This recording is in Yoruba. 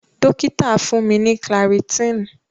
Dokita fun mi ni clarityn.